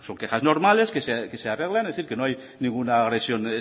quejas normales que se arreglan es decir que no hay ninguna agresión